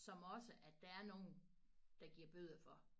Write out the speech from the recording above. Som også at der er nogen der giver bøder for